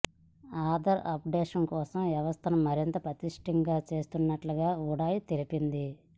Aadhaar updation కోసం వ్యవస్థను మరింత పటిష్టం చేస్తున్నట్లుగా ఉడాయ్ తెలిపింది